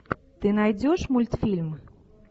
ты найдешь мультфильм